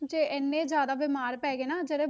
'ਚ ਇੰਨੇ ਜ਼ਿਆਦਾ ਬਿਮਾਰ ਪੈ ਗਏ ਨੇ ਜਿਹੜੇ,